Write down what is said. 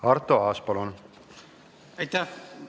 Aitäh!